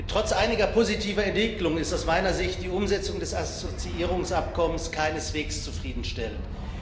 Trotz einiger positiver Entwicklungen ist aus meiner Sicht die Umsetzung des Assoziierungsabkommens keineswegs zufriedenstellend.